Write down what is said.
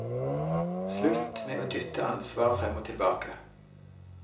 Slutt med å dytte ansvar frem og tilbake.